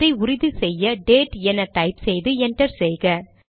இதை உறுதி செய்ய டேட் என டைப் செய்து என்டர் செய்க